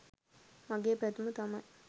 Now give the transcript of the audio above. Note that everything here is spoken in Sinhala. මගේ පැතුම තමයි